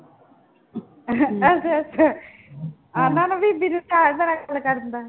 ਅੱਛਾ ਅੱਛਾ ਉਹਨਾਂ ਨੂੰ ਬੀਬੀ ਨੂੰ